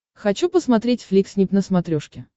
хочу посмотреть фликснип на смотрешке